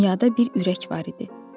Dünyada bir ürək var idi.